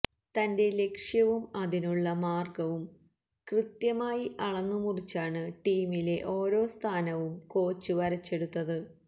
തന്റെ ലക്ഷ്യവും അതിനുള്ള മാർഗവും കൃത്യമായി അളന്നുമുറിച്ചാണ് ടീമിലെ ഓരോ സ്ഥാനവും കോച്ച് വരച്ചെടുത്തത്